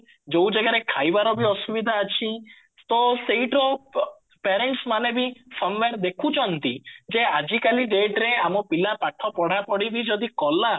ଯୋଉ ଜାଗାରେ ଖାଇବାର ବି ଅସୁବିଧା ଅଛି ତ ସେଇଟାର parents ମାନେ ବି ଦେଖୁଛନ୍ତ ଯେ ଆଜି କାଲି dateରେ ଆମ ପିଲା ପାଠ ପଢା ପଢି ବି ଯଦି କଲା